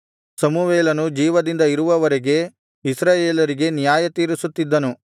ಸಮುವೇಲನು ಜೀವದಿಂದ ಇರುವವರೆಗೆ ಇಸ್ರಾಯೇಲರಿಗೆ ನ್ಯಾಯತೀರಿಸುತ್ತಿದ್ದನು